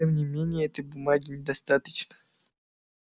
тем не менее этой бумаги недостаточно